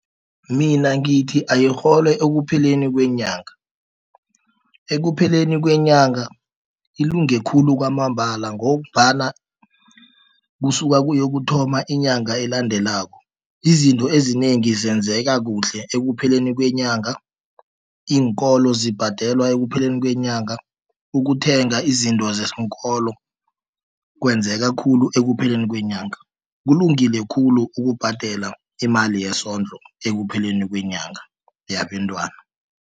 Mina ngithi ayirhole ekupheleni kwenyanga, ekupheleni kwenyanga ilunge khulu kwamambala, ngombana kusuke kuya kuthoma inyanga elandelako. Izinto ezinengi zenzeka kuhle ekupheleni kwenyanga, iinkolo zibhadelwa ekupheleni kwenyanga, ukuthenga izinto zesikolo kwenzeka khulu ekupheleni kwenyanga. Kulungile khulu ukubhadela imali yesondlo, ekupheleni kwenyanga yabentwana.